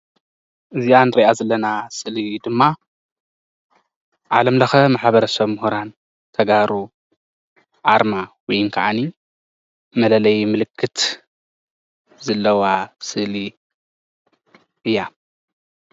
እዛ እንሪኣ ዘለና ስእሊ ድማ ዓለም ለኸ ማሕበረሰብ ሙሁራን ተጋሩ ኣርማ ወይን ክዓኒ መለለይ ምልክት ዘለዋ ስእሊ እያ፡፡